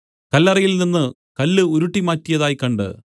കല്ലറയിൽ നിന്നു കല്ല് ഉരുട്ടിമാറ്റിയതായി കണ്ട്